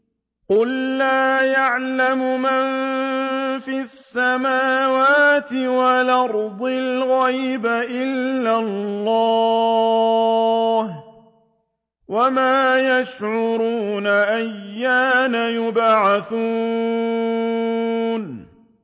قُل لَّا يَعْلَمُ مَن فِي السَّمَاوَاتِ وَالْأَرْضِ الْغَيْبَ إِلَّا اللَّهُ ۚ وَمَا يَشْعُرُونَ أَيَّانَ يُبْعَثُونَ